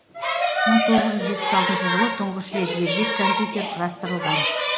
мың тоғыз жүз жетпіс алтыншы жылы тұңғыш рет дербес компьютер құрастырылған